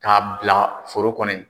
K'a bila foro kɔnɔ in